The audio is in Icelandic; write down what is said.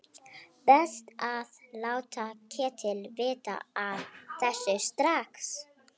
Best að láta Ketil vita af þessu strax.